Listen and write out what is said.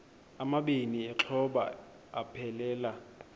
amabini exhobe aphelela